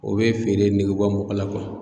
O bɛ feere nege bɔ mɔgɔ la